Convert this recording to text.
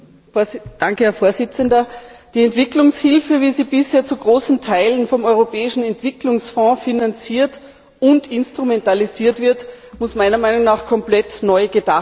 Herr Präsident! Die Entwicklungshilfe, wie sie bisher zu großen Teilen vom Europäischen Entwicklungsfonds finanziert und instrumentalisiert wird, muss meiner Meinung nach komplett neu gedacht werden.